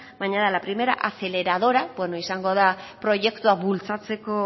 baina da la primera aceleradora beno izango da proiektua bultzatzeko